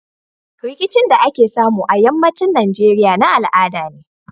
Rikicin da ake samu a yamma cin nigeria na al'ada ne